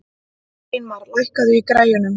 Steinmar, lækkaðu í græjunum.